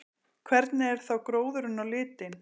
Hvernig er þá gróðurinn á litinn?